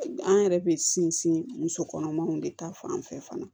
An yɛrɛ bɛ sinsin musokɔnɔmaw de ta fan fɛ fana